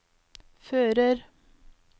fører